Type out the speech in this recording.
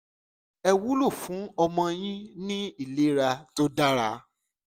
è wúlò fún ọmọ yín ní ìlera tó dára